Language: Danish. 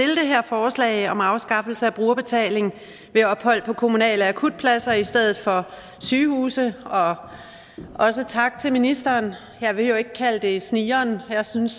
det her forslag om afskaffelse af brugerbetaling ved ophold på kommunale akutpladser i stedet for sygehuse og også tak til ministeren jeg behøver ikke kalde det snigeren jeg synes